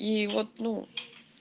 и вот ну